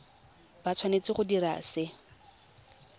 ba tshwanetse go dira se